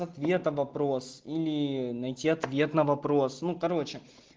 ответа вопрос или найти ответ на вопрос ну короче